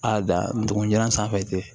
A da ndugun jalan sanfɛ